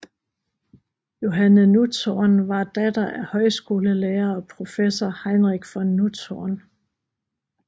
Johanne Nutzhorn var datter af højskolelærer og professor Heinrich von Nutzhorn